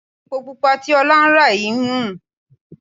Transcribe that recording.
Epo pupa tí Ọlá ń rà yìí ń rùn.